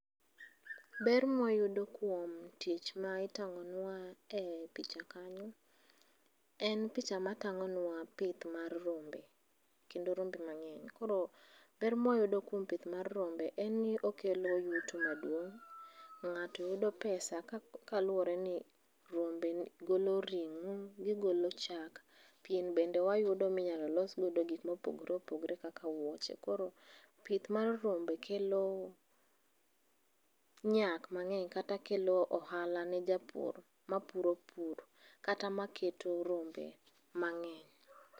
Ber mawayudo kuom tich ma itang'onwa e picha kanyo en picha matang'onwa pith mar rombe, kendo rombe mangeny koro ber mawayudo kuom pith mar rombe en ni okelo yuto maduong',ngato yudo pesa kaluore ni rombe golo ringo, gigolo chak, pien bende wayudo minyalo los godo gikma opogore opogore kaka wuoche. koro pith mar rombe kelo nyak mangeny kata kelo ohala ne japur mapuro pur kata maketo rombe mang'eny